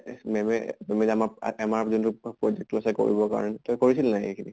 এহ ma'am য়ে কৰিবৰ কাৰণে তই কৰিছিলে নে নাই এইখিনি?